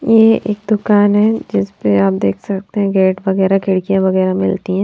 ये एक दुकान है जिसपे आप देख सकते हैं गेट वगैरा खिड़कियां वगैरा मिलती हैं।